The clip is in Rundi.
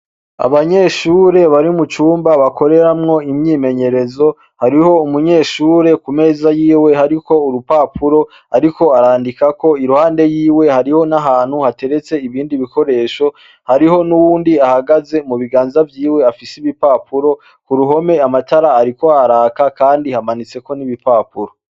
Abanyeshure bari mucumba bakoreramwo imyimenyerezo, hariho umunyeshure kumeza yiwe hariko urupapupo ariko arandikako iruhande yiwe hariho n’ahantu hateretse ibindi bikoresho hariho n’uwundi ahagaze, mubiganza vyiwe afise ibipapuro, kuruhome amatara ariko araka kandi hamanitseko n'ibipapuro.